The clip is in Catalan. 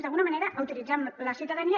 d’alguna manera utilitzem la ciutadania